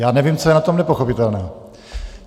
Já nevím, co je na tom nepochopitelného.